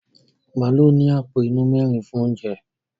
Màálù ní àpò inú mẹ́rin fún oúnjẹ.